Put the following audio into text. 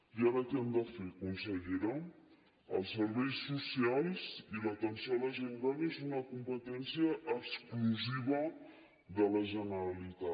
i ara què hem de fer consellera els serveis socials i l’atenció a la gent gran és una competència exclusiva de la generalitat